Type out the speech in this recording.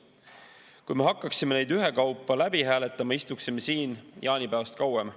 Kui me hakkaksime neid ühekaupa läbi hääletama, istuksime siin jaanipäevast kauem.